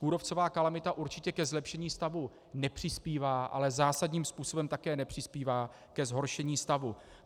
Kůrovcová kalamita určitě ke zlepšení stavu nepřispívá, ale zásadním způsobem také nepřispívá ke zhoršení stavu.